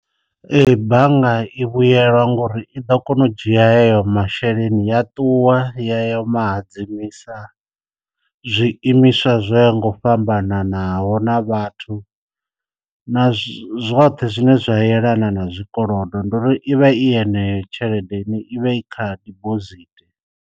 Ee bannga i vhuyelwa ngori i ḓo kona u dzhia yeyo masheleni ya ṱuwa yo mahadzimisa zwi imiswa zwo ya ngo fhambananaho na vhathu na zwoṱhe zwine zwa yelana na zwi kolodo, ndi uri i vha i yeneyo tshelede ni i vha i kha dibosithi.